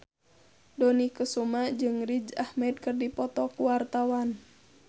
Dony Kesuma jeung Riz Ahmed keur dipoto ku wartawan